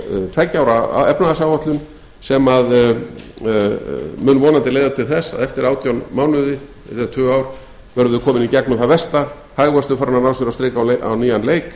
tveggja ára efnahagsáætlun sem mun vonandi leiða til þess að eftir átján mánuði eða tvö ár verðum við komin í gegnum það versta hagvöxtur farinn að ná sér á strik á nýjan leik